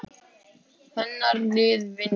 Hennar lið vinnur.